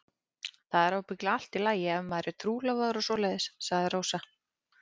Það er ábyggilega allt í lagi ef maður er trúlofaður og svoleiðis, sagði Rósa.